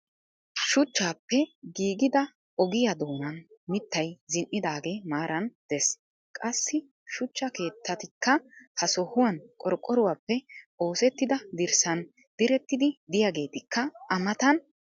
shuchchaappe giigida ogiya doonan mitay zin'idaagee maaran des. qassi shuchcha keettatikka ha sohuwan qorqoruwappe oosetida dirssan diretidi diyageetikka a matan de'ees.